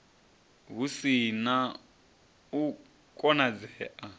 hu si na u konadzea